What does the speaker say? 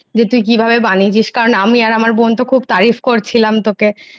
যে তুই কিভাবে বানিয়েছিস কারণ আমি ও আমার বোন তো খুব lang:Hinतारीफlang:Hin করছিলাম তোকে,